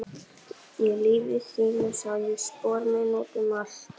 Í lífi þínu sá ég spor mín út um allt.